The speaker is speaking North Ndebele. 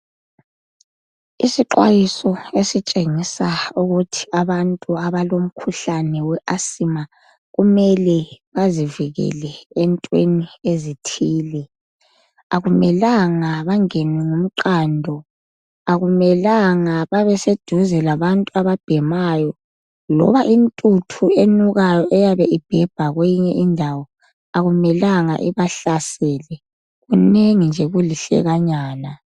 Isixwayiso esitshengisa ukuthi abantu abalomkhuhlane we asima kumele bazivikele entweni ezithile. Akumelanga bangenwe ngumqando, akumelanga babe seduze labantu ababhemayo loba intuthu enukayo eyabe ibhebha kweyinye indawo akumelanga ibahlasele. Kunengi nje kulihlekanyana.